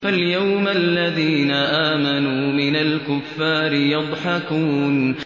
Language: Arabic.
فَالْيَوْمَ الَّذِينَ آمَنُوا مِنَ الْكُفَّارِ يَضْحَكُونَ